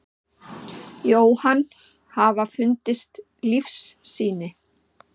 Jóhann: Hafa fundist lífssýni?